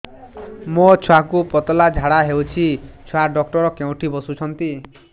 ମୋ ଛୁଆକୁ ପତଳା ଝାଡ଼ା ହେଉଛି ଛୁଆ ଡକ୍ଟର କେଉଁଠି ବସୁଛନ୍ତି